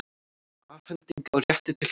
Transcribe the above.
Afhending á rétti til hlutar.